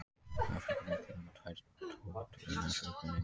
Afríkufíllinn er með tvær totur en Asíufíllinn eina.